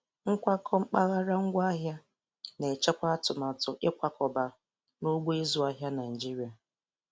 Nkwakọ mpaghara ngwaahịa na-echekwa atụmatụ ịkwakọba n'ugbo ịzụ azụ Naịjiria